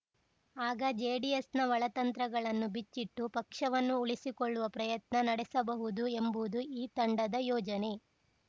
ಆಗ ಜೆಡಿಎಸ್‌ನ ಒಳತಂತ್ರಗಳನ್ನು ಬಿಚ್ಚಿಟ್ಟು ಪಕ್ಷವನ್ನು ಉಳಿಸಿಕೊಳ್ಳುವ ಪ್ರಯತ್ನ ನಡೆಸಬಹುದು ಎಂಬುದು ಈ ತಂಡದ ಯೋಜನೆ